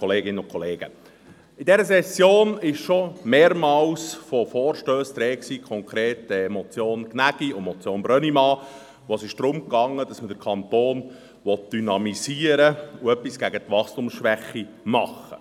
In dieser Session war schon mehrere Male von Vorstössen die Rede, konkret von der Motion Aebi und der Motion Brönnimann, bei denen es darum ging, den Kanton zu dynamisieren und etwas gegen die Wachstumsschwäche zu tun.